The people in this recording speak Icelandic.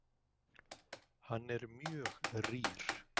Hann er mjög rýr.